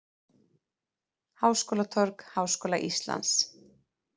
Háskólatorg Háskóla Íslands.